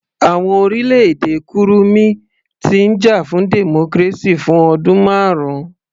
Àwọn orílẹ̀-èdè kurumi ti ń jà fún democracy fún ọdún marun